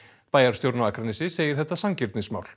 bæjarstjórinn á Akranesi segir þetta sanngirnismál